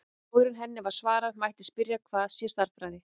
Áður en henni er svarað mætti spyrja hvað sé stærðfræði.